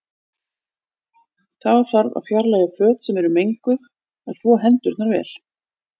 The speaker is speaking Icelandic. Þá þarf að fjarlæga föt sem eru menguð og þvo hendurnar vel.